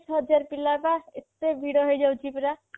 ତିରିଶ ହଜାର ପିଲା ପା ଏତେ ଭିଡ ହେଇଯାଉଛି ପରା